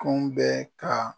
Kɔn bɛ ka